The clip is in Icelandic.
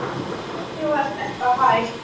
Hvernig var þetta hægt?